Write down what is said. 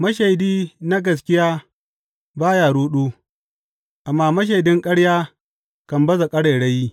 Mashaidi na gaskiya ba ya ruɗu, amma mashaidin ƙarya kan baza ƙarairayi.